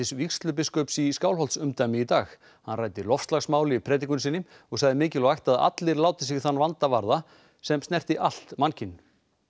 vígslubiskups í Skálholtsumdæmi í dag hann ræddi loftslagsmál í predikun sinni og sagði mikilvægt að allir láti sig þann brýna vanda varða sem snerti allt mannkyn